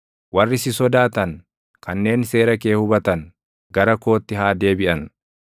Warri si sodaatan, kanneen seera kee hubatan gara kootti haa deebiʼan.